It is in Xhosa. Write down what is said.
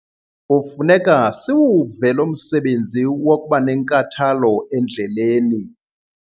Kufuneka siwuve lo msebenzi wokuba nenkathalo endleleni.